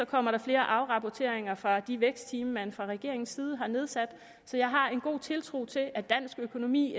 kommer der flere afrapporteringer fra de vækstteam man fra regeringens side har nedsat så jeg har en god tiltro til at dansk økonomi